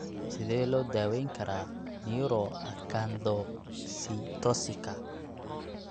Sidee loo daweyn karaa neuroacanthocytosika?